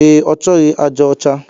E, ọchọghi aja ọcha